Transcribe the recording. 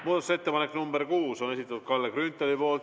Muudatusettepanek nr 6 on Kalle Grünthali esitatud.